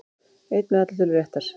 Einn með allar tölur réttar